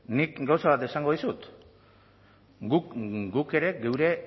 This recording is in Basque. nik gauza bat esango dizut guk ere geure